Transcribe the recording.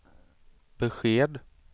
besked